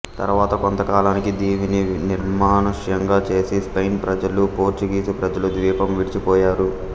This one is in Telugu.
తరువాత కొంతకాలానికి దీవిని నిర్మానుష్యంగా చేసి స్పెయిన్ ప్రజలు పోర్చుగీసు ప్రజలు ద్వీపం విడిచి పోయారు